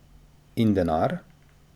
In denar?